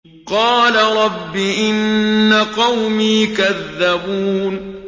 قَالَ رَبِّ إِنَّ قَوْمِي كَذَّبُونِ